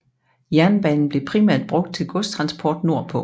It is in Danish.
Jernbanen blev primært brugt til godstransport nordpå